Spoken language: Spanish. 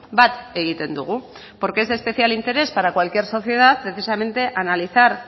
bat egiten dugu porque es de especial interés para cualquier sociedad precisamente analizar